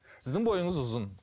сіздің бойыңыз ұзын